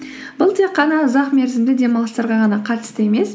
бұл тек қана ұзақ мерзімді демалыстарға ғана қатысты емес